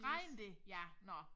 Regner det ja nå